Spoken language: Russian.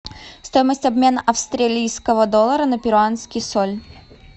стоимость обмена австралийского доллара на перуанский соль